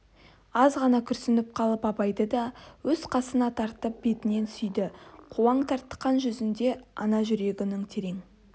азғана күрсініп қалып абайды да өз қасына тартып бетінен сүйді қуаң тартқан жүзінде ана жүрегінің терең